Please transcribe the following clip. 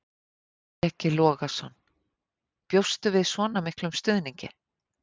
Breki Logason: Bjóstu við svona miklum stuðningi?